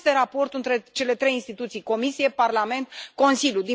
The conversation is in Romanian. Care este raportul între cele trei instituții Comisie, Parlament, Consiliu?